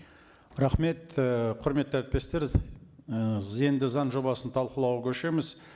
рахмет і құрметті әріптестер і енді заң жобасын талқылауға көшеміз